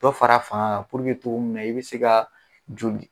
Dɔ far'a fanga kan puruke togo minna i be se ka joli